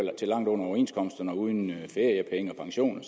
til langt under overenskomsterne og uden feriepenge og pension og